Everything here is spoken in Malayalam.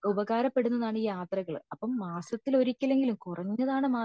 ഉപകാരപ്പെടുന്നതാണ് ഈ യാത്രകൾ അപ്പൊ മാസത്തിൽ ഒരിക്കലെങ്കിലും കുറഞ്ഞതാണ് മാസത്തിൽ